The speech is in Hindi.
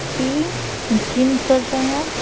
की जिम कर रहा है।